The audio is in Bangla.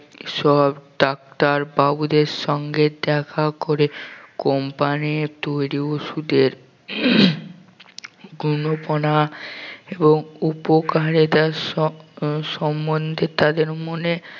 সব ডাক্তার বাবুদের সঙ্গে দেখা করে company তৈরী ঔষধের এবং উপকারিতা স~ সম্বন্ধে তাদের মনে